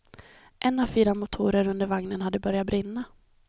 En av fyra motorer under vagnen hade börjat brinna.